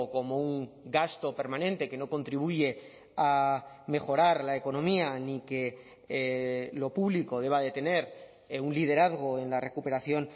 como un gasto permanente que no contribuye a mejorar la economía ni que lo público deba de tener un liderazgo en la recuperación